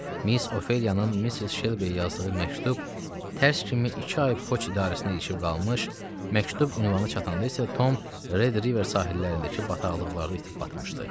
Miss Ofeliyanın Missis Şelbi yazdığı məktub tərs kimi iki ay poçt idarəsinə ilişib qalmış, məktub ünvanına çatanda isə Tom Red River sahillərindəki bataqlıqlarda itib batmışdı.